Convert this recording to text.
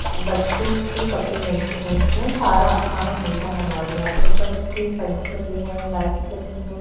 बच्चों के कपड़े मिलते हैं इसमेंसारासामान मिलता है मॉल मेंऊपर इसके पंखे लगे हैं लाइट्स लगी हैं।